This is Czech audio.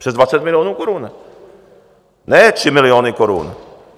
Přes 20 milionů korun, ne 3 miliony korun!